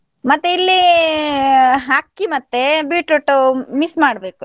ಮತ್ತೆ ಇಲ್ಲಿ ಅಕ್ಕಿ ಮತ್ತೆ beetroot mix ಮಾಡ್ಬೇಕು.